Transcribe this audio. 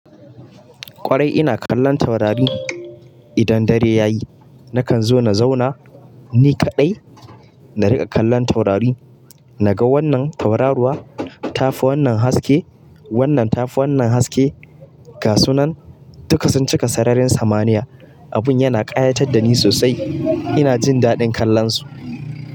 Kwarai ina kallon taurari. Idan dare ya yi nakan zo na zauna ni kaɗai na riƙa kallon taurari. Na ga wannan tauraruwa ta fi wannan haske, wannan ta fi wannan haske. Ga su nan duka sun cika sararin samaniya. Abun yana ƙayatar da ni sosai. Ina jin daɗin kallonsu.